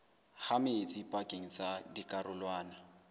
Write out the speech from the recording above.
ha metsi pakeng tsa dikarolwana